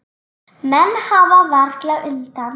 Menn hafa varla undan.